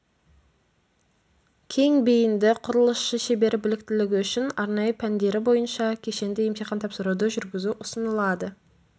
кең бейінді құрылысшы шебері біліктілігі үшін арнайы пәндері бойынша кешенді емтихан тапсыруды жүргізу ұсынылады